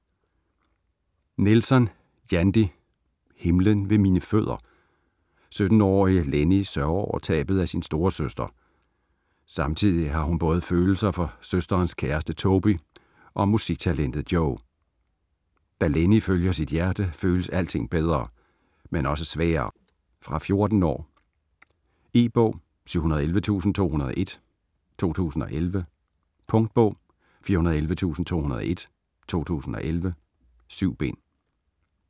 Nelson, Jandy: Himlen ved mine fødder 17-årige Lennie sørger over tabet af sin storesøster. Samtidig har hun både følelser for søsterens kæreste Toby og musiktalentet Joe. Da Lennie følger sit hjerte, føles alting bedre, men også sværere. Fra 14 år. E-bog 711201 2011. Punktbog 411201 2011. 7 bind.